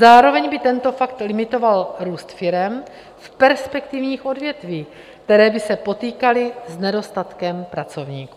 Zároveň by tento fakt limitoval růst firem v perspektivních odvětvích, které by se potýkaly s nedostatkem pracovníků.